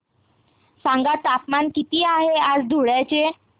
सांगा तापमान किती आहे आज धुळ्याचे